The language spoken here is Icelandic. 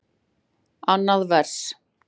Annað vers.